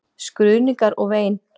Skruðningar og vein.